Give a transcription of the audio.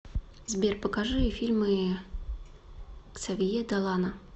сбер покажи фильмы ксавье далана